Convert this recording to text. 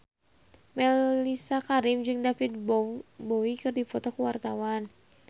Mellisa Karim jeung David Bowie keur dipoto ku wartawan